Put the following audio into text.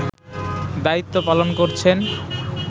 দায়িত্ব পালন করছেন